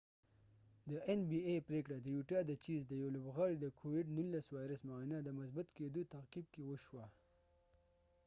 د این بی ای nba پریکړه د یوټا د چېز د یو لوبغاړی د کوويد 19 وایرس معاینه د مثبت کېدو تعقیب کې وشوه